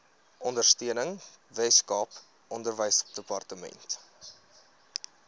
ondersteuning weskaap onderwysdepartement